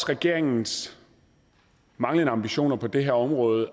regeringens manglende ambitioner på det her område